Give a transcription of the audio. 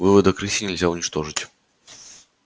выводок рыси нельзя уничтожить